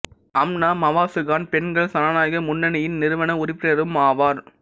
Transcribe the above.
அம்னா மவாசு கான் பெண்கள் சனநாயக முன்னணியின் நிறுவன உறுப்பினரும் ஆவார்